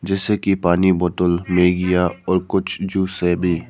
जैसे की पानी बोतल में या और कुछ जूस से भी--